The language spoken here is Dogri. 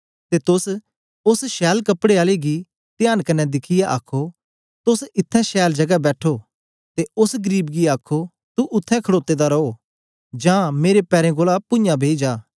ते तोस ओस छैल कपड़े आले गी त्यांन क्न्ने दिखियै आखो तोस इत्थैं छैल जगै बैठो ते ओस गरीब गी आखो तू उत्थें खड़ोते दा रो जां मेरे पैरें कोल पूञाँ बेई जा